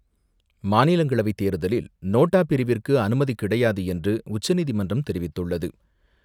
மாநிலங்களவை தேர்தலில், நோட்டா பிரிவிற்கு அனுமதி கிடையாது என்று, உச்சநீதிமன்றம் தெரிவித்துள்ளது.